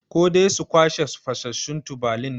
Ko dai su kwashe fasassun tubalin ne?